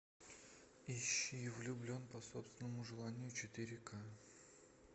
ищи влюблен по собственному желанию четыре к